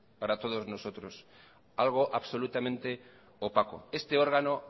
para todos nosotros algo absolutamente opaco este órgano